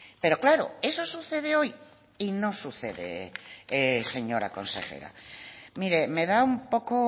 pero claro eso sucede hoy y no sucede señora consejera mire me da un poco